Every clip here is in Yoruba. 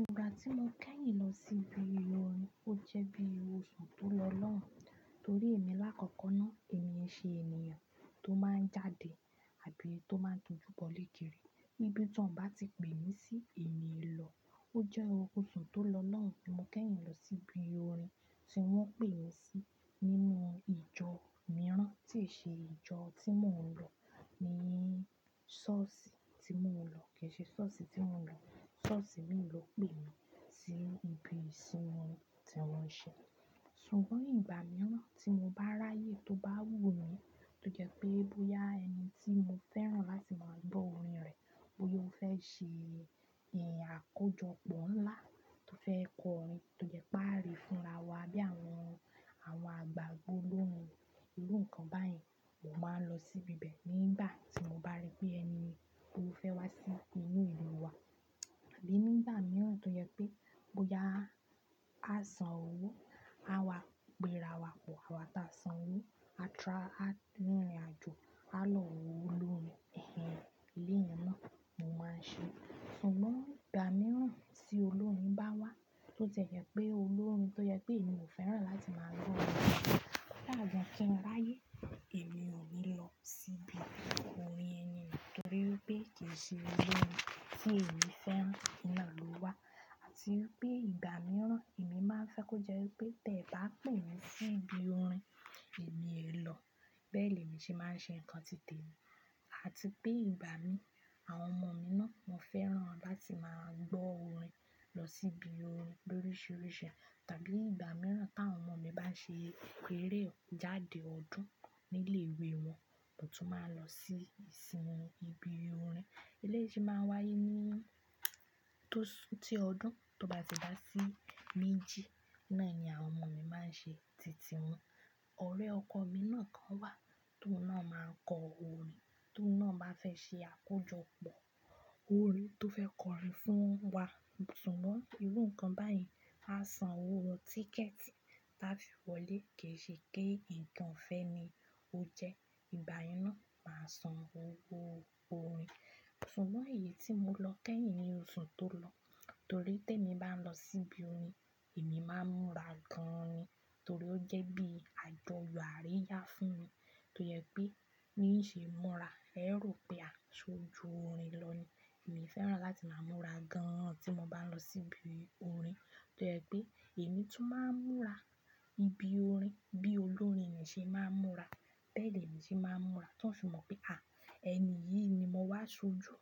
Ìgbà tí mo kẹ́yìn lọ sí ibi orin ó jẹ́ bí oṣù tó lọ lọ́hùn. Torí èmi lákọ̀ọ́kọ́ náà èmi ẹ ṣe ènìyàn tó máa ń jáde àbí tó máa ń dojú bọ̀lé kiri níbi tí wọ́n bá ti pè mí sí èmi è lọ. Ó jẹ́ oṣù tó lọ lọ́hùn tí mo kẹ́yìn lọ sí ibi orin tí wọ́n pè mí sí nínú ìjọ mìíràn tí ṣe ìjọ tí mò ń lọ ní sọ́ọ̀sì tí mò ń lọ. Kì í ṣe sọ́ọ̀sì tí mò ń lọ, sọ́ọ̀sì mi ló pè mí sí ibi ìsinmi tí wọ́n ṣe. Sùgbọ́n ìgbà mìíràn tí mo bá ráyè tó bá wù mí tó jẹ́ pé bóyá ẹni tí mo fẹ́ràn láti máa gbọ́ orin rẹ̀ bóyá ó fẹ́ ṣe ìyẹn àkójọpọ̀ ńlá tó fẹ́ kọ orin tó jẹ́ pé a lè fúnra wa bí àwọn, àwọn àgbàgbó lóun irú nǹkan báyìí mo máa ń lọ sí ibẹ̀ nígbà tí mo bá rí pé ẹni mi tó fẹ́ wá sí inú ìlú wa. Àbí nígbà mìíràn tó jẹ́ pé bóyá a san owó a wá péra wa pọ̀ àwa tí a san owó a trá, a rìnrìnàjò a lọ wo olórin ẹ̀hen iru yẹn náà mo máa ń ṣe. Sùgbọ́n ìgbà mìíràn tí olórin bá wá tó jẹ́ pé olórin tó jẹ́ pé èmi ò fẹ́ràn láti máa lọ lọ́wọ́ láàárín kí n ráyè èmi ò ní lọ sí ibi orin ẹni náà torí pé kì í ṣe olórin tí èmi fẹ́ràn ná ló wá. Àti pé ìgbà mìíràn èmi máa ń fe kó je ẹnipé tẹ́ bá pè mí sí ibi orin èmi è lọ. Bẹ́ẹ̀ lemi ṣe máa ń ṣe nǹkan tìtẹ̀ mi. Àti pé ìgbà mi àwọn ọmọ mi náà mo fẹ́ràn láti máa gbọ́ orin lọ sí ibi orin lórisìíríṣẹ́. Tàbí ìgbà mìíràn tí àwọn ọmọ mi bá ṣe ìpèrè ọ̀ jáde ọdún nílé ìwé wọn, mo tún máa lọ sí ìsinmi ibi orin. Ilé yìí ṣe máa ń wáyé ní tó ti ọdún tó bá ti dá sí méjì náà ni àwọn ọmọ mi máa ń ṣe tìtì wọn. Ọ̀rẹ́ ọkọ mi náà kan wà tó náà máa ń kọ orin tó náà bá fẹ́ ṣe àkójọpọ̀ orin tó fẹ́ kọrin fún wa. Sùgbọ́n irú nǹkan báyìí a san owó tíkẹ̀ẹ̀tì láfi wọlé kì í ṣe kí nǹkan fẹ́ mi ó jẹ́. Ìgbà náà máa san owó orin. Sùgbọ́n èyí tí mo lọ kẹ́yìn ní oṣù tó lọ torí tí èmi bá lọ sí ibi orin èmi máa ń múra gan-an ni. Torí ó jẹ́ bí àjọyọ̀ àríyá fún mi tó jẹ́ pé ní ì ṣe móra ẹrú pé a ṣojú orin lọ ni. Èmi fẹ́ràn láti máa múra gan-an tí mo bá lọ sí ibi orin. Tó jẹ́ pé èmi tu máa ń múra níbi orin bí olórin yẹn ṣe máa ń múra bẹ́ẹ̀ lèmi ṣe máa ń múra. Tí wọ́n sì mọ̀ pé à ẹni yìí ni mo wá ṣojú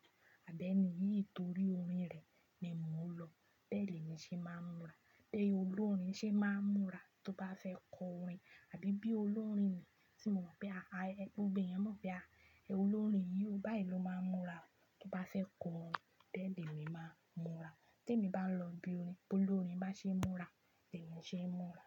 àbí ẹni yìí torí orin rẹ̀ ni mò ń lọ bẹ́ẹ̀ lèmi ṣe máa ń múra. Bí olórin ṣe máa ń múra tó bá fẹ́ kọ orin àbí bí olórin ni tí mo mọ̀ pé à ẹni òbí yẹn mọ̀ pé à ẹ olórin yìí báyìí ló máa ń múra tó bá fẹ́ kọ orin bẹ́ẹ̀ lèmi máa ń múra. Tí èmi bá lọ ibi orin bí olórin bá ṣe ń múra bẹ́ẹ̀ ni ṣe ń múra.